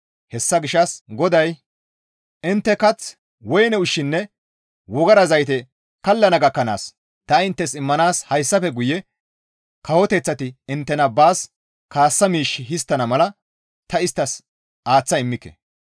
Hessa gishshas GODAY, «Intte kath, woyne ushshinne wogara zayte kallana gakkanaas ta inttes immanaas hayssafe guye kawoteththati inttena baas kaassa miish histtana mala ta isttas aaththa immike.